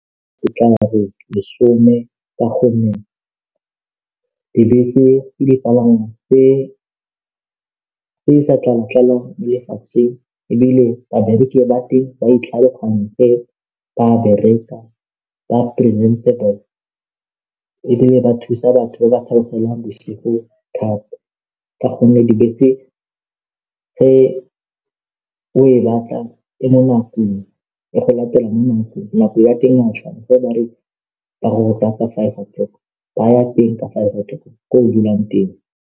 Ke tla re lesome ka gonne dibese di dipalangwa tse di sa tlala tlalang mo lefatsheng ebile babereki ba teng ba ba bereka ba ebile ba thusa batho ba ba theogelang bosigo thata ka gonne dibese tse o e batla e mo nakong e go latela mo nakong nako ya teng ga tshwana ga bare ba go lata ka five o clock ba ya teng ka five o clock ko dulang teng.